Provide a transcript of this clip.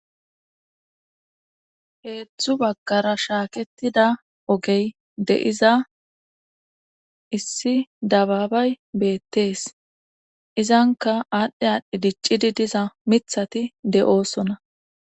heedzdzu baggara shaaketida ogey de7iza issi dabaabay beettees izanka aadhdhe aadhdhe diccidi diza mithati de7oosona